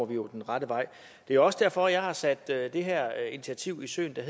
vi jo på rette vej det er også derfor jeg har sat det her initiativ i søen der